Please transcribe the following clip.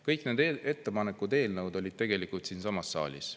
Kõik need ettepanekud, eelnõud olid tegelikult siinsamas saalis.